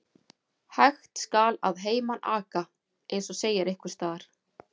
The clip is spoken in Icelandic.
Hægt skal að heiman aka, eins og segir einhvers staðar.